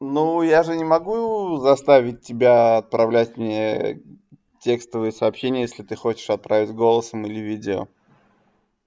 ну я же не могу заставить тебя отправлять мне текстовые сообщения если ты хочешь отправить голосом или видео